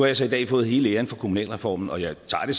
jeg så i dag fået hele æren for kommunalreformen og den tager jeg